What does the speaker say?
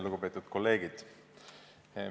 Lugupeetud kolleegid!